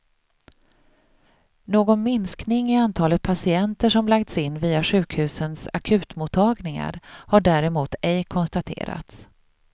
Någon minskning i antalet patienter som lagts in via sjukhusens akutmottagningar har däremot ej konstaterats.